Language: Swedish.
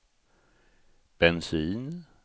bensin